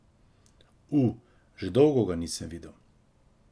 U, že dolgo ga nisem videl.